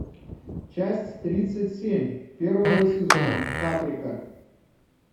часть тридцать семь первого сезона каприка